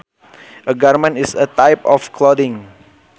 A garment is a type of clothing